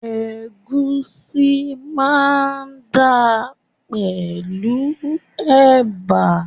Ègúsí máa dáa pẹ̀lú ẹ̀bà